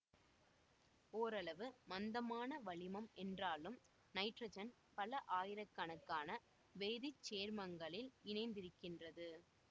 ஓரளவு மந்தமான வளிமம் என்றாலும் நைட்ரஜன் பல ஆயிரக்கணக்கான வேதி சேர்மங்களில் இணைந்திருக்கின்றது